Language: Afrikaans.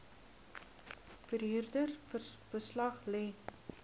verhuurder beslag lê